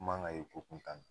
Man ka ye ko kuntan na